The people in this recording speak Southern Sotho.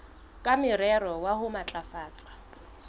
ka morero wa ho matlafatsa